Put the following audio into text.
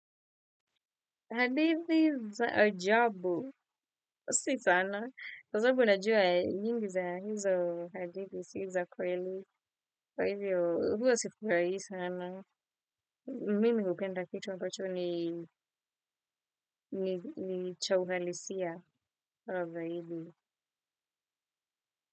Hadithi za ajabu, si sana. Kwa sababu najua nyingi za hizo hadithi, si za kweli. Kwa hivyo, huwa sifurahii sana. Mimi hupenda kitu ambacho ni cha uhalisia au zaidi.